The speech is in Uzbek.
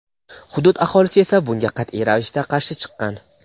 Hudud aholisi esa bunga qat’iy ravishda qarshi chiqqan.